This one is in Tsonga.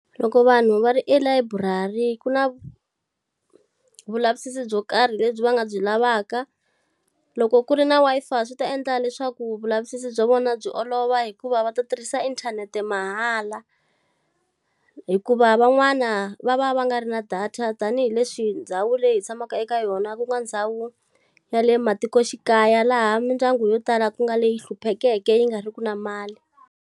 Loko vanhu va ri elayiburari ku na vulavisisi byo karhi lebyi va nga byi lavaka. Loko ku ri na Wi-Fi swi ta endla leswaku vulavisisi bya vona byi olova hikuva va ta tirhisa inthanete mahala. Hikuva van'wana va va va nga ri na data tanihileswi ndhawu leyi hi tshamaka eka yona ku nga ndhawu, ya le matikoxikaya laha mindyangu yo tala ku nga leyi hluphekeke yi nga ri ki na mali.